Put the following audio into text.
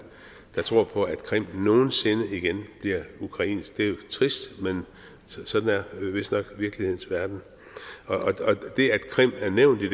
der tror på at krim nogen sinde igen bliver ukrainsk det er jo trist men sådan er det vistnok i virkelighedens verden og det at krim er nævnt i